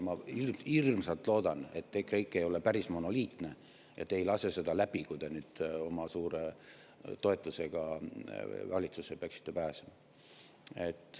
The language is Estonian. Ma hirmsasti loodan, et EKREIKE ei ole päris monoliitne ja te ei lase seda läbi, kui te nüüd oma suure toetusega valitsusse peaksite pääsema.